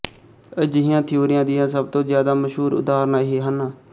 ਅਜਿਹੀਆਂ ਥਿਊਰੀਆਂ ਦੀਆਂ ਸਭ ਤੋਂ ਜਿਆਦਾ ਮਸ਼ਹੂਰ ਉਦਾਹਰਨਾਂ ਇਹ ਹਨ